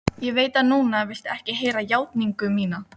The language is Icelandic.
Ég veit að núna viltu ekki heyra játningu mína.